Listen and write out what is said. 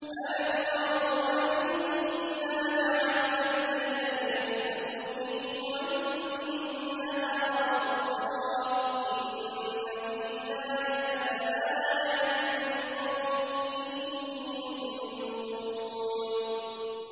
أَلَمْ يَرَوْا أَنَّا جَعَلْنَا اللَّيْلَ لِيَسْكُنُوا فِيهِ وَالنَّهَارَ مُبْصِرًا ۚ إِنَّ فِي ذَٰلِكَ لَآيَاتٍ لِّقَوْمٍ يُؤْمِنُونَ